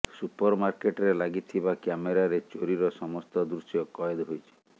ସୁପରମାର୍କେଟରେ ଲାଗିଥିବା କ୍ୟାମେରାରେ ଚୋରିର ସମସ୍ତ ଦୃଶ୍ୟ କଏଦ ହୋଇଛି